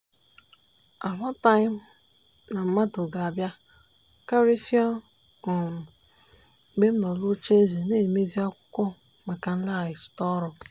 ammataghị m na mmadụ ga-abịa karịsịa um mgbe m nọ n’oche na-emezi akwụkwọ m maka maliteghachi ọrụ. um